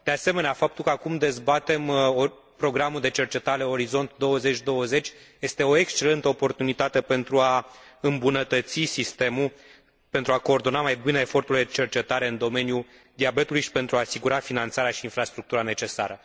De asemenea, faptul că acum dezbatem programul de cercetare Orizont 2020 este o excelentă oportunitate pentru a îmbunătăți sistemul, pentru a coordona mai bine efortul de cercetare în domeniul diabetului și pentru a asigura finanțarea și infrastructura necesare.